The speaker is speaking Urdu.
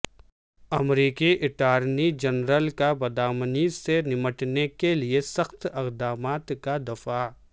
ا مریکی اٹارنی جنرل کا بدامنی سے نمٹنے کے لیے سخت اقدامات کا دفاع